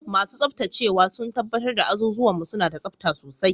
Masu tsabtacewa sun tabbatar da azuzuwan mu suna da tsabta sosai.